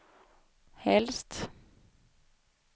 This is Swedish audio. helst